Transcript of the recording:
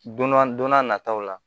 Donna don n'a nataw la